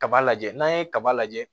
Kaba lajɛ n'an ye kaba lajɛ